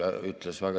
Hea Riigikogu!